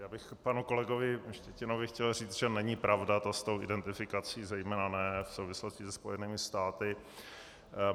Já bych panu kolegovi Štětinovi chtěl říct, že není pravda to s tou identifikací, zejména ne v souvislosti se Spojenými státy.